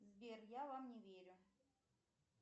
сбер я вам не верю